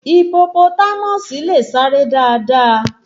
Ipopotámọ̀sì le sáré dáadáa